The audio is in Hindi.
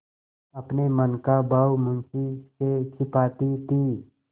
अपने मन का भाव मुंशी से छिपाती थी